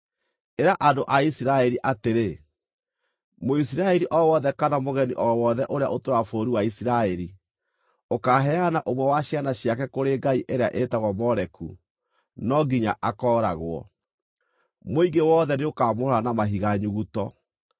“Ĩra andũ a Isiraeli atĩrĩ: ‘Mũisiraeli o wothe kana mũgeni o wothe ũrĩa ũtũũraga bũrũri wa Isiraeli ũkaaheana ũmwe wa ciana ciake kũrĩ ngai ĩrĩa ĩtagwo Moleku, no nginya akooragwo. Mũingĩ wothe nĩ ũkaamũhũũra na mahiga nyuguto.